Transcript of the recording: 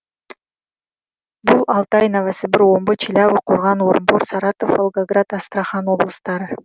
бұл алтай новосібір омбы челябі қорған орынбор саратов волгоград астрахан облыстары